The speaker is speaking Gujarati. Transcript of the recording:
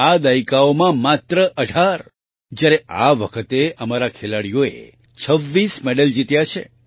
આ દાયકાઓમાં માત્ર 18 જ્યારે આ વખતે અમારા ખેલાડીઓએ 26 મેડલ જીત્યા છે